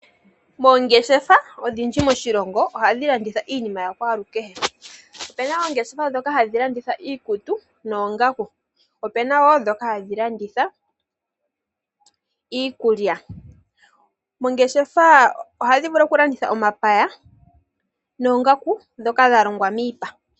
Oongeshefa odhindji moshilongo ohadhi landitha iinima ya kwalukehe. Ope na oongeshefa dhoka hadhi landitha iikutu noongaku. Ope na wo dhoka hadhi landitha iikulya. Oongeshefa ohadhi vulu okulanditha omapaya noongaku dhoka dha longwa miipa.